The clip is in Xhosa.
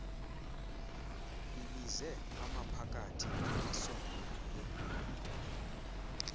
ibize amaphakathi asondeleyo